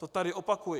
To tady opakuji.